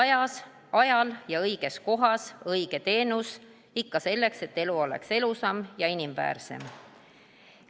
Õigel ajal ja õiges kohas õige teenus, ikka selleks, et elu oleks elusam ja inimväärsem.